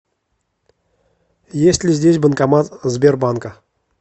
есть ли здесь банкомат сбербанка